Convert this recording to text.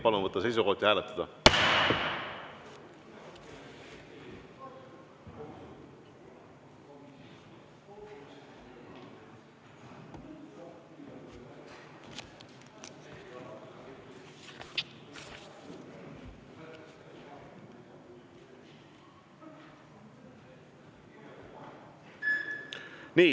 Palun võtta seisukoht ja hääletada!